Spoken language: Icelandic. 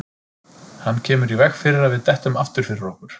Hann kemur í veg fyrir að við dettum aftur fyrir okkur.